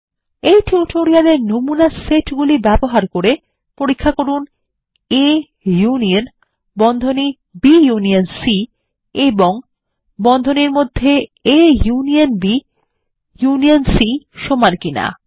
এই টিউটোরিয়াল এর নমুনা সেটগুলো ব্যবহার করে পরীক্ষা করুন A ইউনিয়ন এবং ইউনিয়ন C সমান কিনা